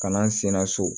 Ka na n senna so